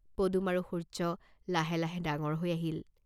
পদুম আৰু সূৰ্য্য লাহে লাহে ডাঙৰ হৈ আহিল।